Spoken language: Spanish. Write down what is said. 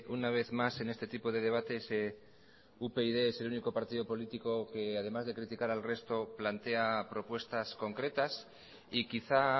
una vez más en este tipo de debates upyd es el único partido político que además de criticar al resto plantea propuestas concretas y quizá